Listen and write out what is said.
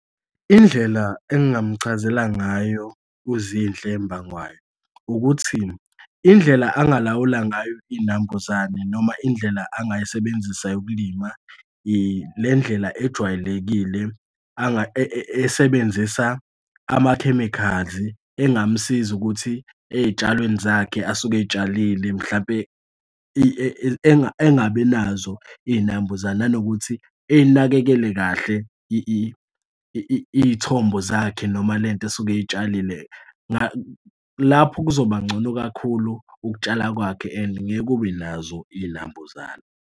Indlela engingamuchazela ngayo uZinhle Mbangwayo ukuthi indlela angalawula ngayo iy'nambuzane noma indlela angayisebenzisa yokulima ile ndlela ejwayelekile esebenzisa ama-chemicals engamsiza ukuthi ey'tshalweni zakhe asuke ey'tshalile mhlampe engabi nazo iy'nambuzane nanokuthi eyinakekele kahle iy'thombo zakhe noma le nto esuke etshalile. Lapho kuzoba ngcono kakhulu ukutshala kwakhe and ngeke kube nazo iy'nambuzane.